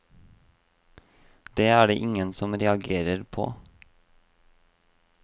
Det er det ingen som reagerer på.